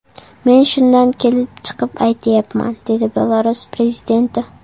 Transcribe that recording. Men shundan kelib chiqib aytayapman”, dedi Belarus prezidenti.